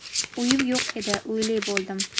Uyim yo‘q edi, uyli bo‘ldim.